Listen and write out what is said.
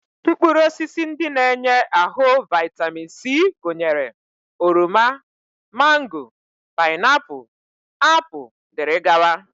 Mkpụrụosisi ndị na-enye ahụ vaịtamin C gụnyere oroma, mango, paịnapụl, apụl, dg